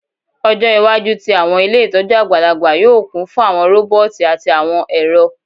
Ọjọ iwaju ti awọn ile itọju agbalagba yoo kun fun awọn roboti ati awọn ẹrọ